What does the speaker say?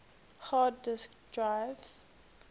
hard disk drives